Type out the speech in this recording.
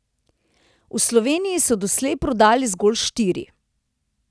V Sloveniji so doslej prodali zgolj štiri.